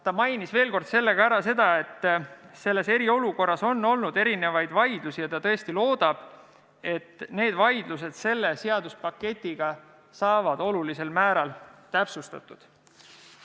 Ta mainis veel kord seda, et eriolukorras on olnud vaidlusi ja ta tõesti loodab, et need teemad saavad selle seadusepaketiga olulisel määral täpsustatud.